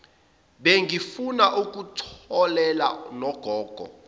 bengifuna ukutholela nogogo